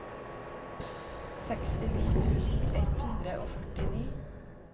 sekstini tusen ett hundre og førtini